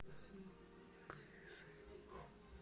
кызылом